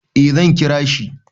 Eh zan kira shi.